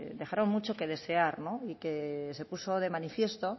dejaron mucho que desear y que se puso de manifiesto